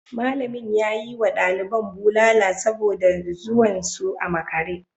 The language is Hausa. Malamin ya yi wa daliban bulala saboda zuwan su a makare